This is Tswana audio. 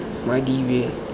madibe